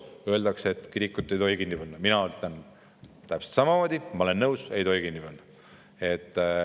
Öeldakse, et kirikut ei tohi kinni panna – mina arvan täpselt samamoodi, ma olen nõus: ei tohi kinni panna.